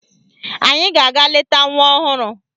Anyị ga-aga leta nwa ọhụrụ